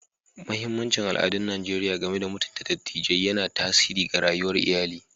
Mahimmancin al'adun Najeriya game da mutunta dattijai yana tasiri ga rayuwar iyali.